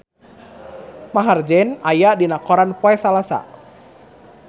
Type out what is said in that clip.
Maher Zein aya dina koran poe Salasa